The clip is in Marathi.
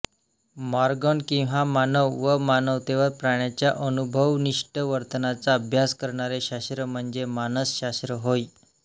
मॉर्गन किंग मानव व मानवेतर प्राण्याच्या अनुभवनिष्ठ वर्तनाचा अभ्यास करणारे शास्त्र म्हणजे मानसशास्त्र होय